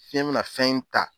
Fiɲɛ mina fɛn in ta